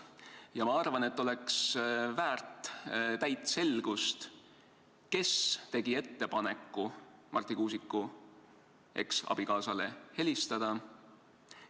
Ja ma arvan, et oleks vaja täit selgust, kes tegi ettepaneku Marti Kuusiku eksabikaasale helistada.